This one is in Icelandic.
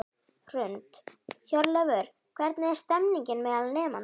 Hrund: Hjörleifur, hvernig er stemningin meðal nemenda?